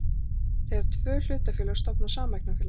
þegar tvö hlutafélög stofna sameignarfélag.